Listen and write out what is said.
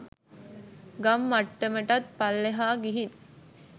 ගම් මට්ටමටත් පල්ලෙහා ගිහින්